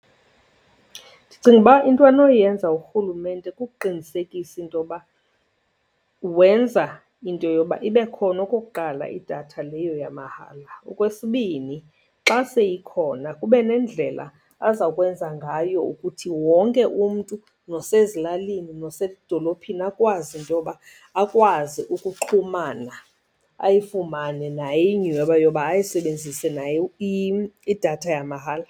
Ndicinga uba into anoyenza urhulumente kukuqinisekisa into yoba wenza into yoba ibe khona okokuqala idatha leyo yamahala. Okwesibini, xa seyikhona kube nendlela azawukwenza ngayo ukuthi wonke umntu nosezilalini nosedolophini akwazi into yoba akwazi ukuxhumana, ayifumane naye inyhweba yoba ayisebenzise naye idatha yamahala.